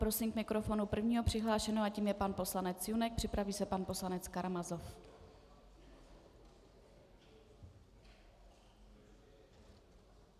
Prosím k mikrofonu prvního přihlášeného a tím je pan poslanec Junek, připraví se pan poslanec Karamazov.